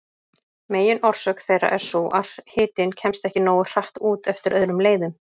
Meginorsök þeirra er sú að hitinn kemst ekki nógu hratt út eftir öðrum leiðum.